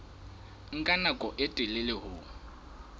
nka nako e telele ho